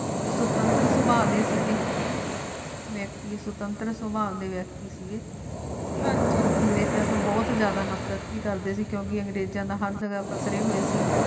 ਤੇ ਸੁਤੰਤਰ ਰੁਤਬਾ ਦੇਸੀ ਘਿਓ ਭੇਤੀ ਸੁਤੰਤਰ ਤੋਂ ਬਾਅਦ ਵਿਅਕਤੀ ਸੀ ਅੰਗਰੇਜ਼ਾਂ ਤੋਂ ਬਹੁਤ ਜਿਆਦਾ ਨਫ਼ਰਤ ਦੀ ਕਰਦੇ ਸੀ ਕਿਉਂਕਿ ਅੰਗ੍ਰੇਜ਼ਾਂ ਹੋਏ ਸੀ